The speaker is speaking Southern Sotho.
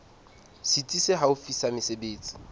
setsi se haufi sa mesebetsi